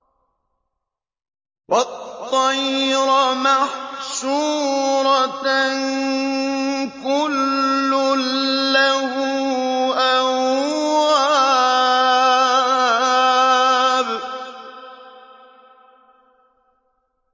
وَالطَّيْرَ مَحْشُورَةً ۖ كُلٌّ لَّهُ أَوَّابٌ